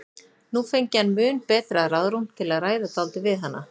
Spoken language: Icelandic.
Nú fengi hann mun betra ráðrúm til að ræða dálítið við hana.